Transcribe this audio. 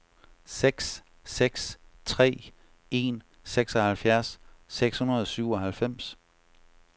seks seks tre en seksoghalvfjerds seks hundrede og syvoghalvfems